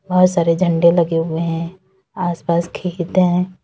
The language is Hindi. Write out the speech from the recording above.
बहुत सारे झंडे लगे हुए हैं आसपास खेत हैं।